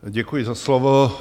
Děkuji za slovo.